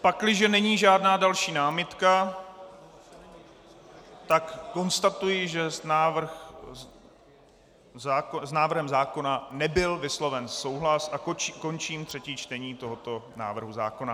Pakliže není žádná další námitka, tak konstatuji, že s návrhem zákona nebyl vysloven souhlas, a končím třetí čtení tohoto návrhu zákona.